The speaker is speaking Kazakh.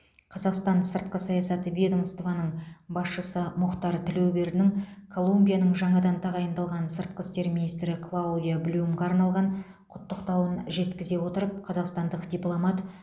қазақстан сыртқы саясат ведомствоның басшысы мұхтар тілеубердінің колумбияның жаңадан тағайындалған сыртқы істер министрі клаудиа блюмға арналған құттықтауын жеткізе отырып қазақстандық дипломат